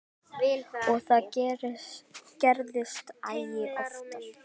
Og það gerðist æ oftar.